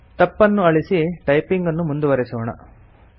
ತಪ್ಪನ್ನು ಅಳಿಸಿ ಟೈಪಿಂಗನ್ನು ಮುಂದುವರೆಸೋಣ